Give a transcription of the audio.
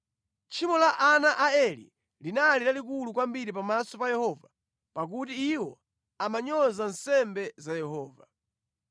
Tchimo la ana a Eli linali lalikulu kwambiri pamaso pa Yehova pakuti iwo amanyoza nsembe za Yehova.